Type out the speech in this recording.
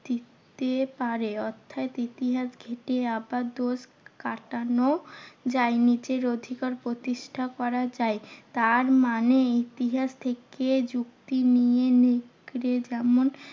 দিতে পারে। অর্থাৎ ইতিহাস ঘেঁটে আবার দোষ কাটানো যায়। নিজের অধিকার প্রতিষ্ঠা করা যায়। তারমানে ইতিহাস থেকে যুক্তি নিয়ে নেকড়ে যেমন